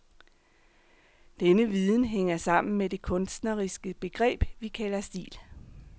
Denne viden hænger sammen med det kunstneriske begreb, vi kalder stil.